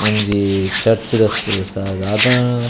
ಒಂಜಿ ಚರ್ಚ್ದ ಸ್ಪೇಸಾ ಆ ದಾದನ --